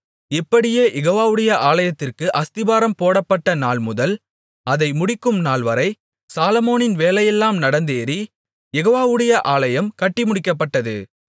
இப்படியே யெகோவாவுடைய ஆலயத்திற்கு அஸ்திபாரம் போடப்பட்ட நாள்முதல் அதை முடிக்கும் நாள்வரை சாலொமோனின் வேலையெல்லாம் நடந்தேறிக் யெகோவாவுடைய ஆலயம் கட்டிமுடிக்கப்பட்டது